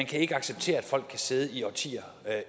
kan acceptere at folk kan sidde i årtier